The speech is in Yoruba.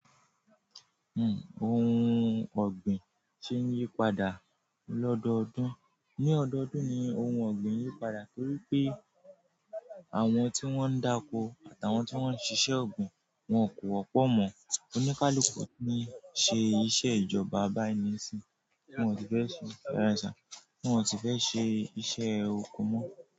Ohun ọ̀gbìn ṣe ń yí padà lọ́dọ̀ọ́dún. Ní ọdọ́ọ̀dún ni ohun ọ̀gbìn yí padà torí pé àwọn tí wọ́n ń dákó àtà àwọn tí wọ́n ń ṣiṣẹ́ ògbìn wọn kò wọ́pọ̀ mọ́. Oníkaluku ní ṣe iṣẹ́ ìjọba bayi nisìn, wọn sì fẹ́ ṣe ìráṣà, wọn sì fẹ́ ṣe iṣẹ́ òko mọ́.